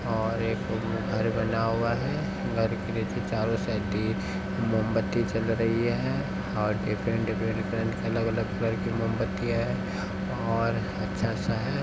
और एक उसमें घर बना हुआ है। घर के नीचे चारों साइडें मोमबत्ती जल रही है और डिफरेंट डिफरेंट कलर अलग-अलग कलर की मोमबत्तियाँ हैं और अच्छा सा है।